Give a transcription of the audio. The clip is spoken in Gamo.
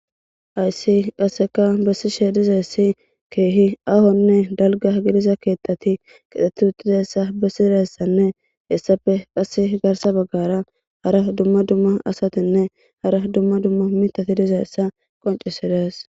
Hays qasekkabesishe dizaysi kehi ahonne dalaga gidiza ketati ketdheti udidaysa besizaysanne hesape bagara hara dumma dumma asatinne hara duma duma mithati fizaysa qoncisides